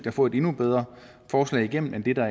at få et endnu bedre forslag igennem end det der